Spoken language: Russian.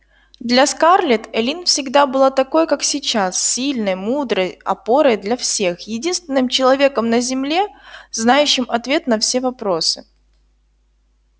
для скарлетт эллин всегда была такой как сейчас сильной мудрой опорой для всех единственным человеком на земле знающим ответ на все вопросы